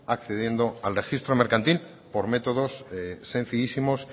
accediendo al registro mercantil por métodos sencillísimos